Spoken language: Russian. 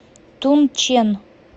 тунчэн